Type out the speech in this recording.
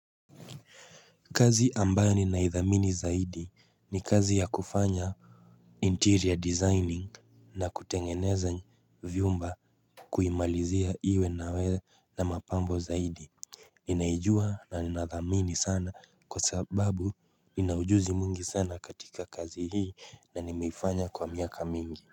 Kazi ambayo ninaidhamini zaidi ni kazi ya kufanya interior designing na kutengeneza vyumba kuimalizia iwe nawe na mapambo zaidi Ninaijua na ninadhamini sana kwa sababu ninaujuzi mwingi sana katika kazi hii na nimeifanya kwa miaka mingi.